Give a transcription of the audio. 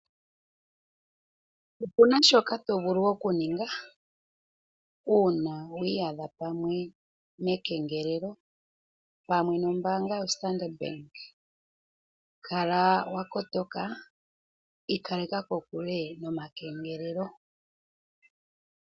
Opuna shoka to vulu okuninga uuna wi iyadha pamwe mekengelelo pamwe nombaanga yo Standard bank, kala wa kotoka ikaleka kokule nomakengelelo